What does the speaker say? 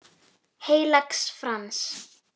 Heilags Frans.